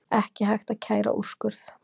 Ekki hægt að kæra úrskurð